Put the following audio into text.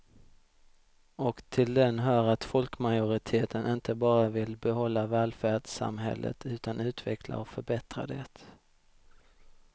Och till den hör att folkmajoriteten inte bara vill behålla välfärdssamhället utan utveckla och förbättra det.